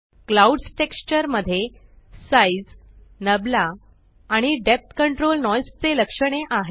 clouds texture मध्ये size नाबला आणि डेप्थ कंट्रोल नॉइस चे लक्षणे आहेत